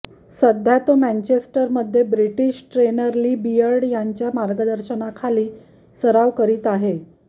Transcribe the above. सध्या तो मँचेंस्टरमध्ये ब्रिटिश ट्रेनर ली बियर्ड यांच्या मार्गदर्शनाखाली सराव करीत आहे